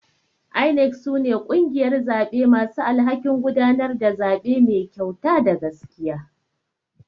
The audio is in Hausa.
INEC sune kungiyar zaɓe masu alhakin gudanar da zaɓe Mai kyauta da gaskiya.